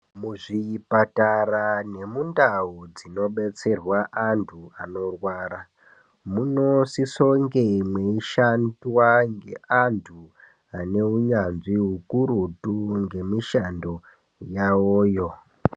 Muzvipatara nemundau dzinobetserwa antu anorwara munosiso kunge mweishanda ngeantu aneunyanzvi ukurutu ngemishando yawoyo.